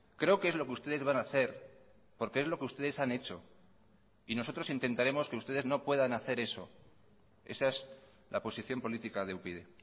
creo que es lo que ustedes van a hacer porque es lo que ustedes han hecho y nosotros intentaremos que ustedes no puedan hacer eso esa es la posición política de upyd